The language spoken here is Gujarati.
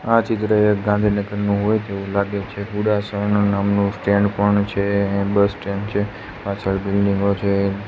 આ ચિત્ર એ ગાંધીનગરનુ હોય તેવુ લાગે છે નામનુ સ્ટેન્ડ પણ છે બસ સ્ટેન્ડ છે પાછળ બિલ્ડીંગો છે.